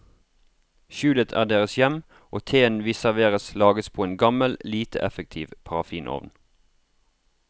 Skjulet er deres hjem, og teen vi serveres lages på en gammel, lite effektiv parafinovn.